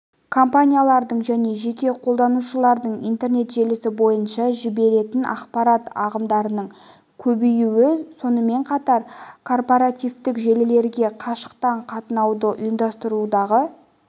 компаниялардың және жеке қолданушылардың интернет желісі бойынша жіберетін ақпарат ағындарының көбеюі сонымен қатар корпоративтік желілерге қашықтан қатынауды ұйымдастырудағы